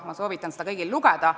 Ma soovitan seda kõigil lugeda.